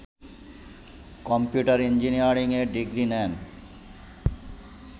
computer engineering এ degree নেন